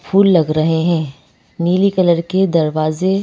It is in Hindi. फूल लग रहे हैं नीली कलर के दरवाजे--